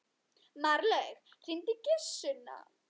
Marlaug, hringdu í Gissunni.